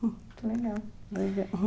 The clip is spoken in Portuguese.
Que legal.